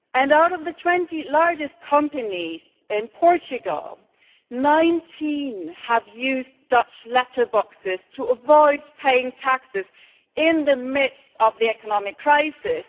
Out of the 20 largest companies in Portugal, 19 used Dutch letterboxes to avoid paying taxes in the midst of the economic crisis.